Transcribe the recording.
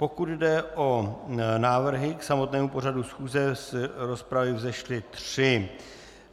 Pokud jde o návrhy k samotnému pořadu schůze, z rozpravy vzešly tři.